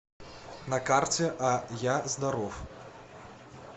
на карте а я здоров